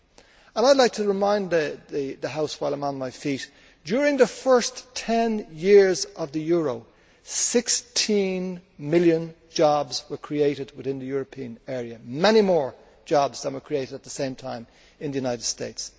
I would like to remind the House while I am on my feet that, during the first 10 years of the euro, 16 million jobs were created within the European area many more jobs than were created at the same time in the United States.